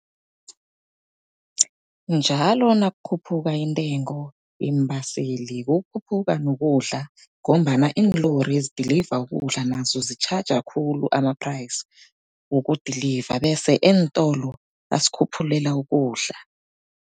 Njalo nakukhuphuka intengo yeembaseli kukhuphuka nokudla, ngombana iinlori ezidiliva ukudla nazo zitjhaja khulu ama-price wokudiliva. Bese eentolo basikhuphulela ukudla.